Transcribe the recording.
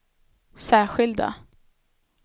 särskilda